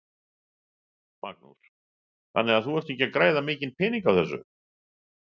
Magnús: Þannig að þú ert ekki að græða mikinn pening á þessu?